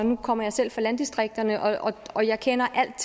nu kommer jeg selv fra landdistrikterne og og jeg kender alt